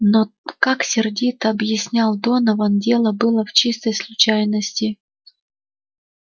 но как сердито объяснял донован дело было в чистой случайности